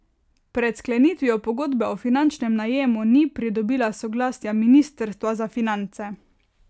Pred sklenitvijo pogodbe o finančnem najemu ni pridobila soglasja ministrstva za finance.